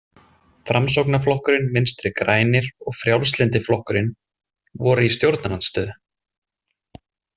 Framsóknarflokkurinn, Vinstri grænir og Frjálslyndi flokkurinn voru í stjórnarandstöðu.